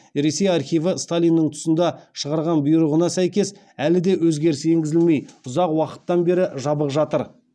ресей архиві сталиннің тұсында шығарған бұйрығына сәйкес әлі де өзгеріс енгізілмей ұзақ уақыттан бері жабық жатыр